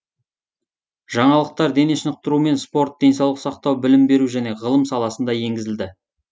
жаңалықтар дене шынықтыру мен спорт денсаулық сақтау білім беру және ғылым саласына енгізілді